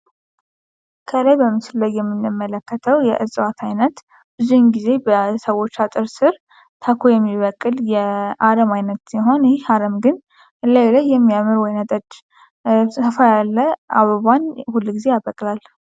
ከላይ በምስሉ ላይ የምንመለከተው የእጽዋት አይነት ብዙን ጊዜ በሰዎች አጥር ስር ታኮ የሚበቅል የአረም አይነት ሲሆን ይህ የአረም ግን እላዩ ላይ የሚያምር ወይን ጠጅ ሰፋ ያለ አበባን ሁል ጊዜ ያበቅላል።